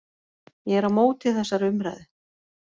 Ég er á móti þessari umræðu.